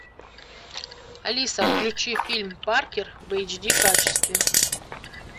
алиса включи фильм паркер в эйч ди качестве